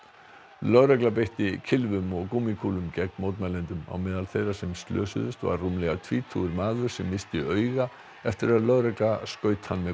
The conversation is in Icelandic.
lögregla beitti kylfum og gúmmíkúlum gegn mótmælendum á meðal þeirra sem slösuðust var rúmlega tvítugur maður sem missti auga eftir að lögregla skaut hann með